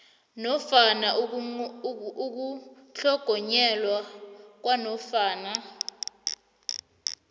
nofana ukutlhogonyelwa kwanofana